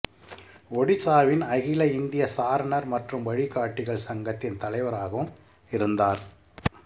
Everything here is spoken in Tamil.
ஒடிசாவின் அகில இந்திய சாரணர் மற்றும் வழிகாட்டிகள் சங்கத்தின் தலைவராகவும் இருந்தார்